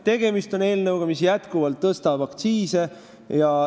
Tegemist on eelnõuga, mis jätkuvalt tõstab aktsiise.